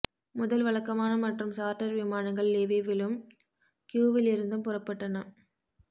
முதல் வழக்கமான மற்றும் சார்ட்டர் விமானங்கள் லிவிவிலும் கீயுவிலிருந்தும் புறப்பட்டன